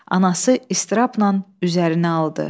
Anası ıztırabla üzərinə aldı.